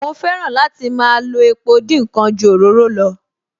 Mo fẹ́ràn láti máa lo epo dín ǹkan ju òróró lọ